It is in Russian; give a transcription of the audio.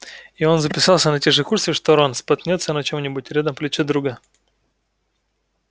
и он записался на те же курсы что рон споткнётся на чем-нибудь рядом плечо друга